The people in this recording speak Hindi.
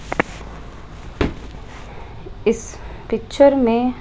इस पिक्चर में--